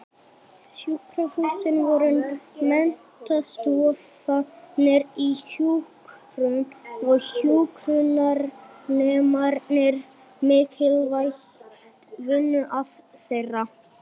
Sjúkrahúsin voru menntastofnanir í hjúkrun og hjúkrunarnemarnir mikilvægt vinnuafl þeirra.